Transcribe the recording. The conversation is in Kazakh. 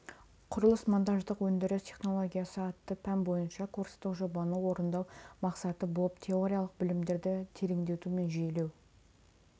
құрылыс-монтаждық өндіріс технологиясы атты пән бойынша курстық жобаны орындау мақсаты болып теориялық білімдерді тереңдету мен жүйелеу